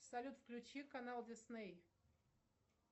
салют включи канал дисней